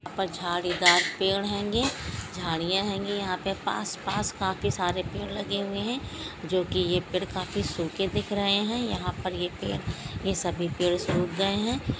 परछाड़ीदार पेड़ हेंगे जाड़िया हेंगी यहा पे पास-पास काफी सारे पेड़ लगे हुवे है जो की ये पेड़ काफी सूखे दिख रहे है यहा पर ये पेड़ ये सभी सुख गए है।